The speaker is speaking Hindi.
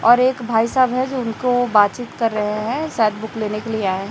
और एक भाई साहब है जो उनको बात चीत कर रहे हैं शायद बुक लेने के लिए आये हैं।